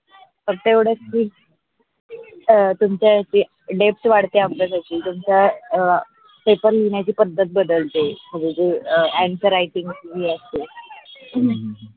तेवडच अ तुमच्या याचे deps वाढते आमच्या साठी. तुमच्या अ पेपर लिहिण्याची पध्दत बदलते, जे answer writing जी असते हम्म